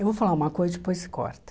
Eu vou falar uma coisa e depois se corta.